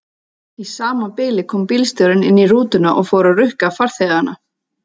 Í sama bili kom bílstjórinn inn í rútuna og fór að rukka farþegana.